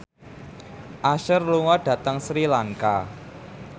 Usher lunga dhateng Sri Lanka